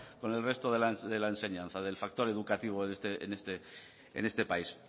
con el resto de la enseñanza del factor educativo en este país